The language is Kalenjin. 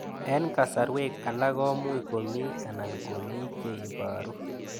Eng' kasarwek alak ko much ko mii anan ko mii che ibaru